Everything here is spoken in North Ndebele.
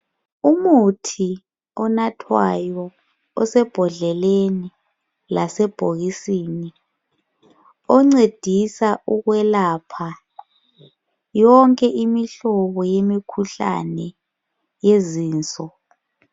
Umuthi onathwayo osebhodleleni lasebhokisini oncedisa ukwelapha yonke imihlobo yemikhuhlane yezinto.